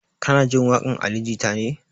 Kana jin waƙan ali jita ne?